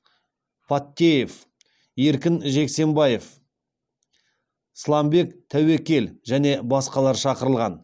паттеев еркін джексембаев сламбек тәуекел және басқалар шақырылған